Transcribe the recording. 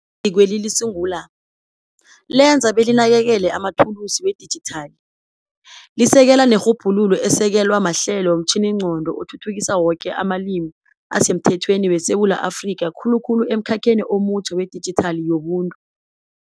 Izikweli lisungula, lenze belinakekele amathulusi wedijithali, lisekele nerhubhululo esekelwa mahlelo womtjhiningqondo athuthukisa woke amalimi asemthethweni weSewula Afrika khulukhulu emkhakheni omutjha wedijithali yobuntu.